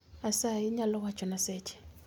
Asayi inyalo wachona seche